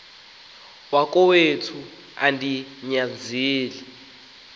wakowethu andi nyanzeli